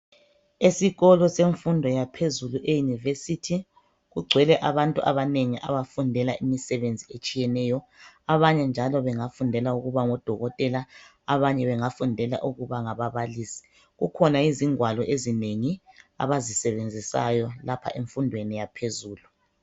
Esikolo semfundo yaphezulu eyunivesithi, kungcwele abantu abanengi abafundela imisebenzi etshiyeneyo, abanye njalo bengafundela ukuba ngodokotela, abanye bengafundela ukuba ngababalisi. Kukhona izingwalo ezinengi abazisebenzisayo lapha emfundweni yaphezulu.